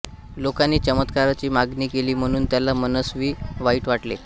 लोकांनी चमत्काराची मागणी केली म्हणून त्याला मनस्वी वाईट वाटले